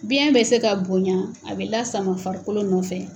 Biyɛn bɛ se ka bonya, a bɛ lasama farikolo nɔfɛ.